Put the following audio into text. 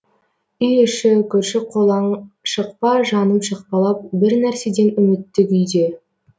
үй іші көрші қолаң шықпа жаным шықпалап бір нәрседен үмітті күйде